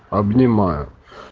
обнимаю